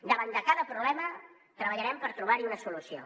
davant de cada problema treballarem per trobar hi una solució